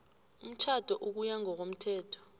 umtjhado ukuya ngokomthetho